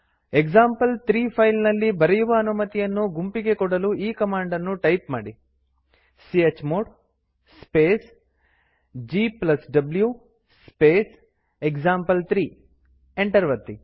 example three file ನಲ್ಲಿ ಬರೆಯುವ ಅನುಮತಿಯನ್ನು ಗುಂಪಿಗೆ ಕೊಡಲು ಈ ಕಮಾಂಡ್ ಅನ್ನು ಟೈಪ್ ಮಾಡಿ chmod space gw space example three enter ಒತ್ತಿ